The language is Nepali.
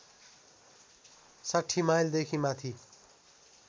६० माइलदेखि माथि